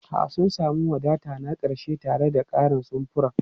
A'a, sun sami wadata na ƙarshe tare da ƙarin samfuran.